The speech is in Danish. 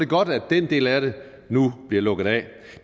godt at den del af det nu bliver lukket af